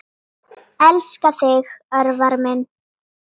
Elska þig, Örvar minn.